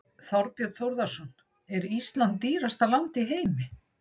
Þorbjörn Þórðarson: Er Ísland dýrasta land í heimi?